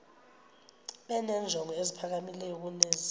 benenjongo eziphakamileyo kunezi